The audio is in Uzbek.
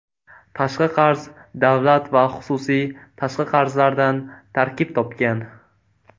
Tashqi qarz davlat va xususiy tashqi qarzlaridan tarkib topgan.